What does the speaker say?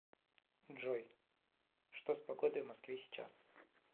джой что с погодой в москве сейчас